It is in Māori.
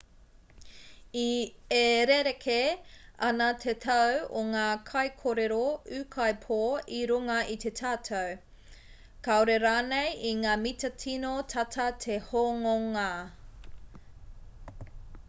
e rerekē ana te tau o ngā kaikōrero ūkaipō i runga i te tatau kāore rānei i ngā mita tino tata te hononga